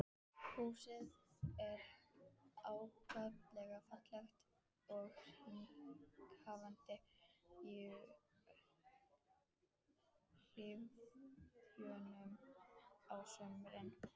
Húsið er ákaflega fallegt og hrífandi í hlýjunni á sumrin.